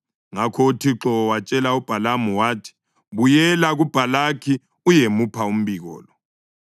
Ngakho uThixo watshela uBhalamu wathi, “Buyela kuBhalaki uyemupha umbiko lo.”